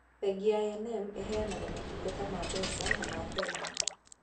Bengi ya I&M ĩheanaga motungata ma mbeca na ma bengi.